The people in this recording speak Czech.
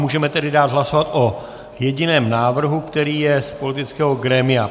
Můžeme tedy dát hlasovat o jediném návrhu, který je z politického grémia.